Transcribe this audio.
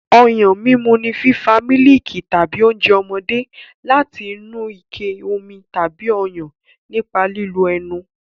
Ọyàn mímu ni fífa mílìkì tàbí oúnjẹ ọmọdé láti inú ike omi tàbí Ọyàn nípa lílo ẹnu.